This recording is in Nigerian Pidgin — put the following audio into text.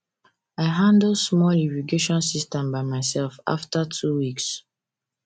i handle small irrigation system by myself after two weeks